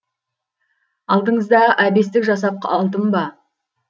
алдыңызда әбестік жасап алдым ба